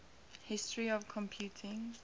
history of computing